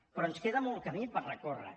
però ens queda molt camí per recórrer